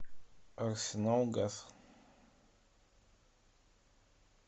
арсеналгаз